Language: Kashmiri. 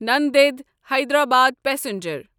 نَندِد حیدرآباد پسنجر